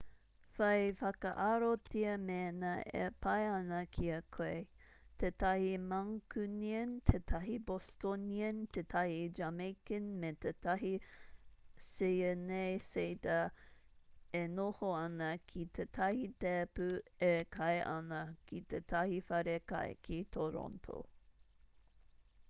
whai whakaarotia mēnā e pai ana ki a koe tētahi mancunian tētahi bostonian tētahi jamaican me tētahi syeneysider e noho ana ki tētahi tēpu e kai ana ki tētahi wharekai ki toronto